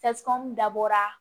dabɔra